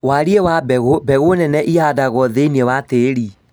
Wariĩ wa mbegũ: mbegũ nene ihandagwo thĩinĩ wa tĩri